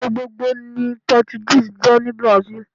Èdè gbogbogbò ni pótúgíìsì jé ní Brazil